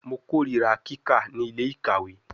Mo korira kika ni ile-ikawe